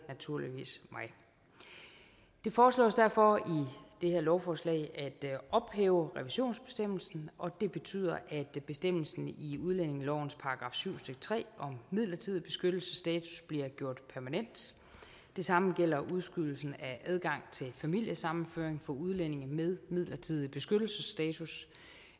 naturligvis det foreslås derfor i det her lovforslag at ophæve revisionsbestemmelsen og det betyder at bestemmelsen i udlændingelovens § syv stykke tre om midlertidig beskyttelsesstatus bliver gjort permanent det samme gælder udskydelsen af adgang til familiesammenføring for udlændinge med midlertidig beskyttelsesstatus